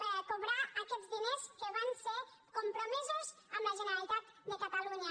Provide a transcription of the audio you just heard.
per a cobrar aquests diners que van ser compromesos amb la generalitat de catalunya